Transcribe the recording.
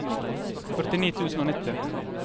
førtini tusen og nitti